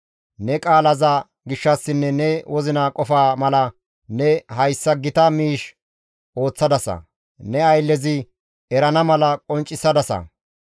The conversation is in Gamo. Ne qaalaza gishshassinne ne wozina qofa mala ne hayssa gita miish ooththadasa; ne ayllezi erana mala qonccisadasa.